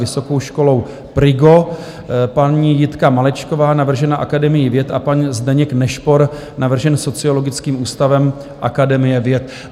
Vysokou školou PRIGO, paní Jitka Malečková, navržená Akademií věd, a pan Zdeněk Nešpor, navržen Sociologickým ústavem Akademie věd.